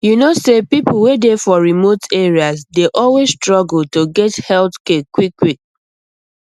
you know say people wey dey for remote areas dey always struggle to get health care quickquick